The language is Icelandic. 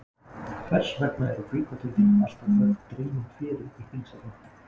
Hvers vegna eru gluggatjöldin alltaf höfð dregin fyrir í þingsalnum?